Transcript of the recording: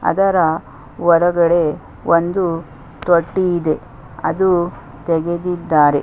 ಅದರ ಹೊರಗಡೆ ಒಂದು ತೊಟ್ಟಿ ಇದೆ ಅದು ತೆಗೆದಿದ್ದಾರೆ.